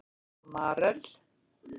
Marel